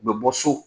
U bɛ bɔ so